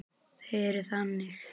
Þau eru þannig.